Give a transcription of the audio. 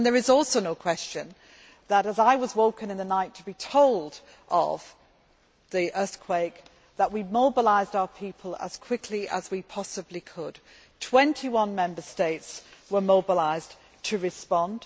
And there is also no question that, as I was woken in the night to be told of the earthquake, we mobilised our people as quickly as we possibly could. Twenty one Member States were mobilised to respond.